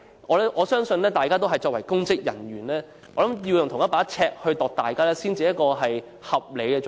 我相信，大家作為公職人員，要用同一把尺來量度他人才是合理做法。